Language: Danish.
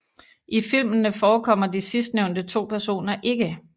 I filmene forekommer de sidstnævnte to personer ikke